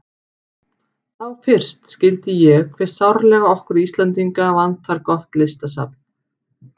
Þá fyrst skildi ég hve sárlega okkur Íslendinga vantar gott listasafn.